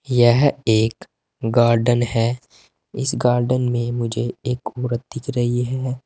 यह एक गार्डन है इस गार्डन में मुझे एक औरत दिख रही है।